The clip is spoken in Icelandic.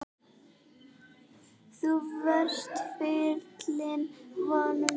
Þú varst fylling vona minna.